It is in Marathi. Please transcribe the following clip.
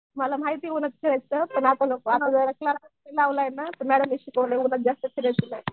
मला माहिती